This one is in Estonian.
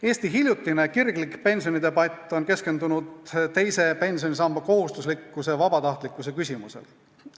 Eesti hiljutine kirglik pensionidebatt on keskendunud teise pensionisamba kohustuslikkuse ja vabatahtlikkuse küsimusele.